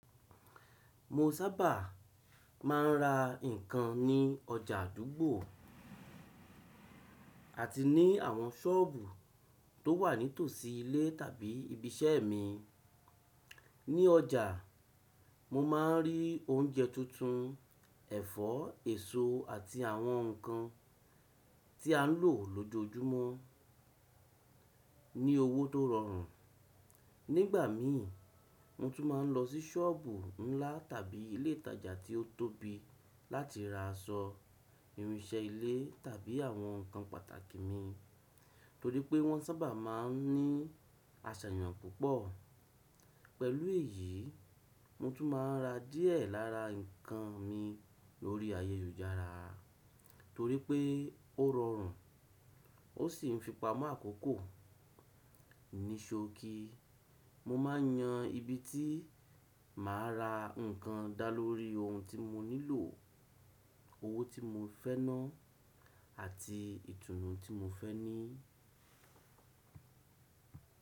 Mo sábà máa ń ra ǹkan ní ọjà àdúgbò àti ní àwọn sọ́ọ̀bù tó wà ní tòsí ilé tàbí ibi iṣẹ́ mi. Ní ọjà, mo máa ń rí oúnjẹ tuntun, ẹ̀fọ́, èso àti àwọn ǹkan tí à ń lò lójoojúmọ́ ní owó tó rọrùn. Nígbà mi, mo tún máa ń lọ sí sọ́ọ̀bù ńlá tàbí ilé ìtajà tí ó tóbi láti ra aṣọ, irinṣẹ́ ilé tàbí àwọn ǹkan pàtàkì mi torí pé wọ́n sábà máa ń ní àṣàyàn púpọ̀. Pẹ̀lú èyí, mo tún máa ń ra díẹ̀ lára ǹkan mi lórí ayélujára torí pé ó rọrùn ó sì ń fi pamọ́ àkókò. Níṣòòkì, mo máa ń yan ibi tí màá ra ǹkan dá lórí ohun tí mo nílò, owó tí mo fẹ́ ná àti ìtùnú tí mo fẹ́ ní.